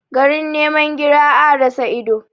Garin niman gira, a rasa ido.